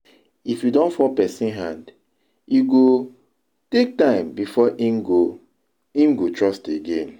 If you don fall person hand, e go take time before im go im go trust again